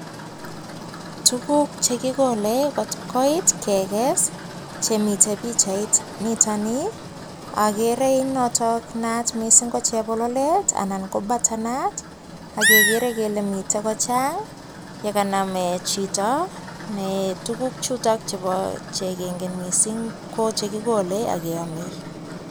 Tuguk che kigoole kot koit keges chemiten pichainiton nii, ak ogere noto naat ko chebololet anan ko butter nut. Ak kegeree kele miten kochang ye kaname chito ne tuguk chuto chubo chegingen mising ko che kigole ak ke oome.